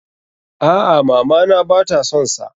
A'a, mama na ba ta son sa.